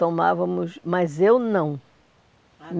Tomávamos, mas eu não. Ah